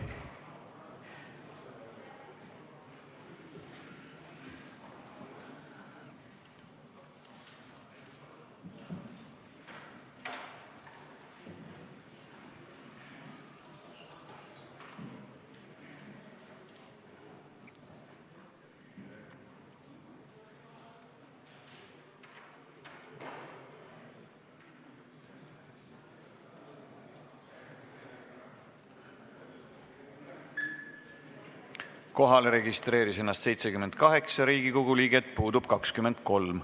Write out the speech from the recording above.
Kohaloleku kontroll Kohalolijaks registreeris ennast 78 Riigikogu liiget, puudub 23.